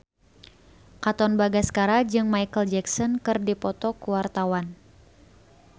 Katon Bagaskara jeung Micheal Jackson keur dipoto ku wartawan